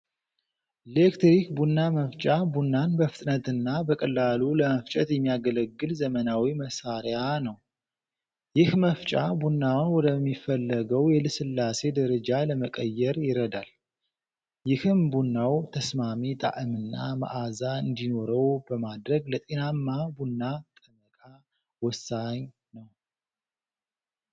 ሌክትሪክ ቡና መፍጫ ቡናን በፍጥነትና በቀላሉ ለመፍጨት የሚያገለግል ዘመናዊ መሣሪያ ነው። ይህ መፍጫ ቡናውን ወደሚፈለገው የልስላሴ ደረጃ ለመቀየር ይረዳል፤ ይህም ቡናው ተስማሚ ጣዕምና መዓዛ እንዲኖረው በማድረግ ለጤናማ ቡና ጠመቃ ወሳኝ ነው።